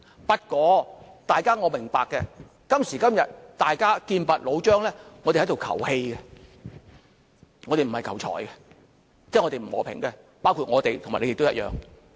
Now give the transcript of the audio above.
不過，我明白今時今日，大家劍拔弩張，我們只是求氣，並不是求財，即是我們不求和平，包括我們和你們也一樣。